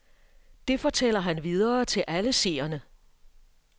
Det fortæller han videre til alle seerne.